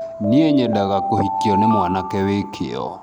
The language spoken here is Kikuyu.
nĩĩ nyedaga kuhikio nĩ mwanake wĩ kĩo